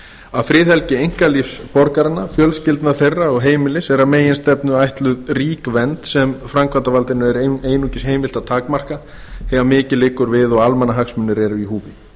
að friðhelgi einkalífs borgaranna fjölskyldna þeirra og heimilis er að meginstefnu ætluð rík vernd sem framkvæmdarvaldinu er einungis heimilt að takmarka þegar mikið liggur við og almannahagsmunir eru í húfi